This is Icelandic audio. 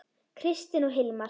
Kristin og Hilmar.